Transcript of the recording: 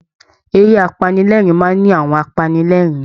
Eré apanilẹ́ẹ̀rín máa ń ní àwọn apanilẹ́ẹ̀rín